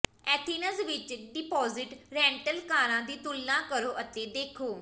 Athens ਵਿਚ deposit rental ਕਾਰਾਂ ਦੀ ਤੁਲਨਾ ਕਰੋ ਅਤੇ ਦੇਖੋ